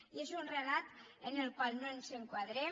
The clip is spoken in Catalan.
i és un relat en el qual no ens enquadrem